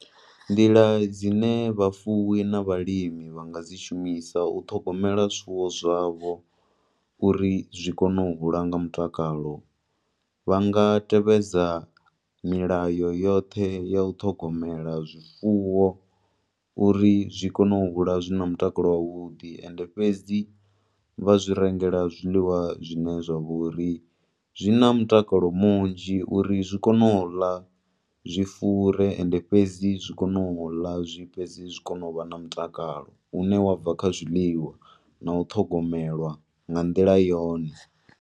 Nḓila dzine vhafuwi na vhalimi vha nga dzi shumisa u ṱhogomela zwifuwo zwavho uri zwi kone u hula nga mutakalo, vha nga tevhedza milayo yoṱhe ya u ṱhogomela zwifuwo uri zwikone u hula zwina mutakalo wavhudi, ende fhedzi vha zwi rengela zwiḽiwa zwine zwa vha uri zwi na mutakalo munzhi, uri zwi kone u ḽa zwi fure, ende fhedzi zwi kone u ḽa zwi fhedze zwi kone u vha na mutakalo une wa bva kha zwiḽiwa, na u ṱhogomelwa nga nḓila yone.